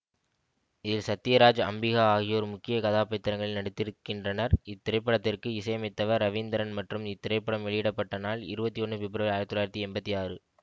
இதில் சத்யராஜ் அம்பிகா ஆகியோர் முக்கிய கதாபாத்திரங்களில் நடித்திருக்கின்றனர் இத்திரைப்படத்திற்கு இசையமைத்தவர் ரவீந்திரன் மற்றும் இத்திரைப்படம் வெளியிட பட்ட நாள் இருபத்தி ஒன்னு பிப்ரவரி ஆயிரத்தி தொள்ளாயிரத்தி எம்பத்தி ஆறு